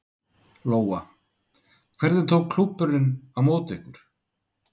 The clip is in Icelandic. Lóa: Hvernig tók klúbburinn á móti ykkur?